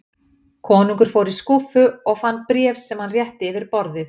Konungur fór í skúffu og fann bréf sem hann rétti yfir borðið.